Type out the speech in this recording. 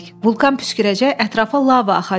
Vulkan püskürəcək, ətrafa lava axacaq.